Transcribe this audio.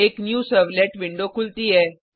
एक new servlet window खुलती है